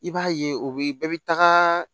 I b'a ye o bi bɛɛ bi taga